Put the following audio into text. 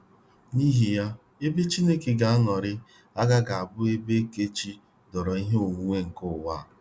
N'ihi ya, ebe Chineke ga anọrịrị agaghị abụ ebe ekechi doro ihe onwunwe nke ụwa.